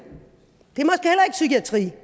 psykiatri vi